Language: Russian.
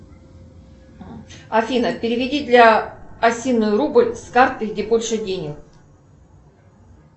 афина переведи для осиной рубль с карты где больше денег